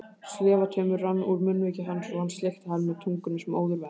Slefutaumur rann úr munnviki hans og hann sleikti hann með tungunni sem óður væri.